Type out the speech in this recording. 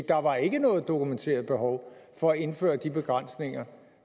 der var ikke noget dokumenteret behov for at indføre de begrænsninger